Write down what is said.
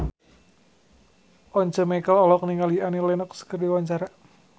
Once Mekel olohok ningali Annie Lenox keur diwawancara